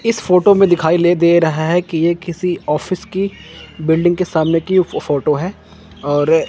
इस फोटो में दिखाई ले दे रहे है कि ये किसी ऑफिस की बिल्डिंग के सामने की फोटो है और--